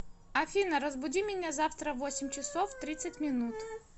афина разбуди меня завтра в восемь часов тридцать минут